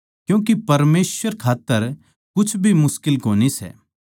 क्यूँके परमेसवर खात्तर कुछ भी मुश्किल कोनी सै